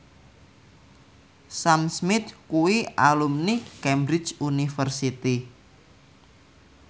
Sam Smith kuwi alumni Cambridge University